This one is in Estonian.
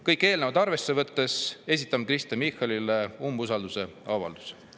Kõike eelnevat arvesse võttes esitan nõude Kristen Michalile umbusalduse avaldamiseks.